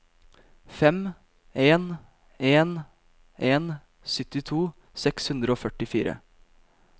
fem en en en syttito seks hundre og førtifire